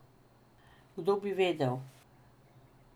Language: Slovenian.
Kdo bi vedel?